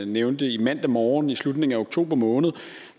nævnte i mandag morgen i slutningen af oktober måned